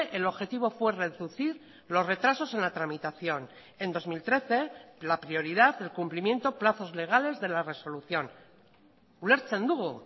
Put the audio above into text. el objetivo fue reducir los retrasos en la tramitación en dos mil trece la prioridad el cumplimiento plazos legales de la resolución ulertzen dugu